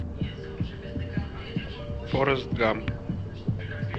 форрест гамп